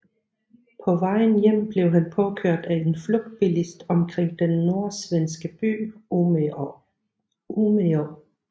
På vejen hjem blev han påkørt af en flugtbilist omkring den nordsvenske by Umeå